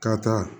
Ka taa